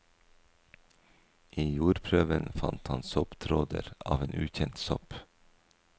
I jordprøven fant han sopptråder av en ukjent sopp.